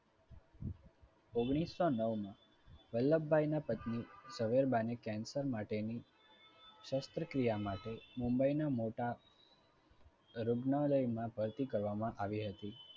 ઓગણીસો નવમાં વલ્લભભાઈ ના પત્ની ઝવેરબાની cancer માટેની શાસ્ત્રક્રિયા માટે મુંબઈના મોટા રૂબનાલયમા ભરતી કરવામાં આવી હતી